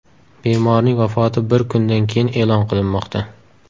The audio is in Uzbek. Bemorning vafoti bir kundan keyin e’lon qilinmoqda.